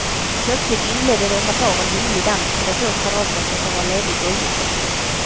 Plötsligt inledde några par en vinglig dans på de få kvadratmeter som var ledig golvyta.